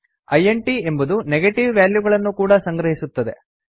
int ಎಂಬುದು negative ವ್ಯಾಲ್ಯೂಗಳನ್ನು ಕೂಡಾ ಸಂಗ್ರಹಿಸುತ್ತದೆ